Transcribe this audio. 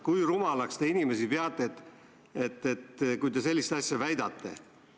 Kui rumalaks te inimesi peate, kui te sellist asja väidate?